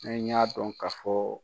Ne y'a dɔn ka fɔ